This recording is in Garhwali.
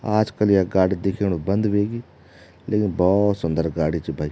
आजकल या गाडी दिखेणु बंद वेगी लेकिन भोत सुन्दर गाडी च भाई ।